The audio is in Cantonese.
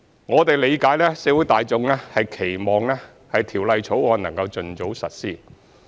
我們理解社會大眾期望《條例草案》能夠盡早實施。